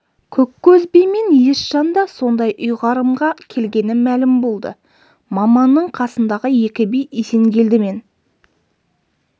көккөз би мен есжан да сондай ұйғарымға келгені мәлім болды маманның қасындағы екі би есенгелді мен